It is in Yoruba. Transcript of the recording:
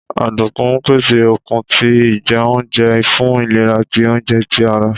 Ọdunkun pese okun ti ijẹunjẹ fun ilera ti ounjẹ ti ara.